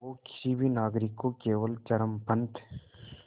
वो किसी भी नागरिक को केवल चरमपंथ